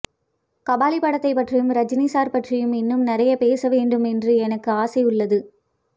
கபாலி படத்தைப் பற்றியும் ரஜினி சார் பற்றியும் இன்னும் நிறைய பேச வேண்டும் என்று எனக்கு ஆசை உள்ளது